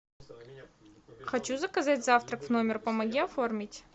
хочу заказать завтрак в номер помоги оформить